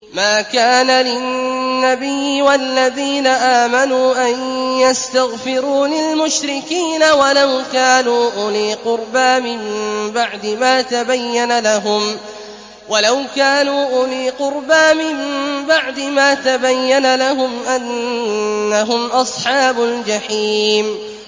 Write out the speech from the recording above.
مَا كَانَ لِلنَّبِيِّ وَالَّذِينَ آمَنُوا أَن يَسْتَغْفِرُوا لِلْمُشْرِكِينَ وَلَوْ كَانُوا أُولِي قُرْبَىٰ مِن بَعْدِ مَا تَبَيَّنَ لَهُمْ أَنَّهُمْ أَصْحَابُ الْجَحِيمِ